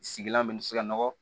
Sigilan bɛ se ka nɔgɔ